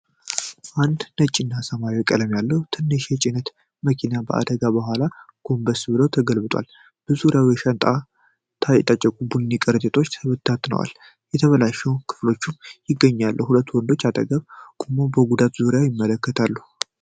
አንድ ነጭና ሰማያዊ ቀለም ያለው ትንሽ የጭነት መኪና ከአደጋ በኋላ ጎንበስ ብሎ ተገልብጦአል። በዙሪያው በሻንጣ የታጨቁ ቡኒ ከረጢቶች ተበታትነዋል፤ የተበላሹ ክፍሎችም ይገኛሉ። ሁለት ወንዶች አጠገብ ቆመው በጉዳቱ ዙሪያ ይመለከታሉ።